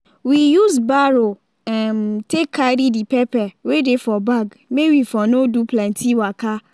we use barrow um take carry the pepper wey dey for bag may we for no do plenty waka